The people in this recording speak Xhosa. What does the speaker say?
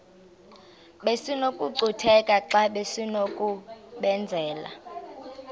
besinokucutheka xa besinokubenzela